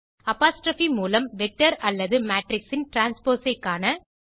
apostrophe மூலம் vector அல்லது matrix ன் டிரான்ஸ்போஸ் ஐ காண